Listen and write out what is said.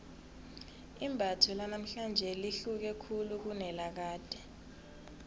imbatho lanamhlanje lihluke khulu kunelakade